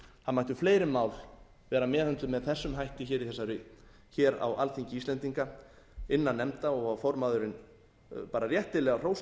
það mættu fleiri mál vera meðhöndluð með þessum hætti hér á alþingi íslendinga innan nefnda og formaðurinn á bara réttilega hrós skilið fyrir það því við erum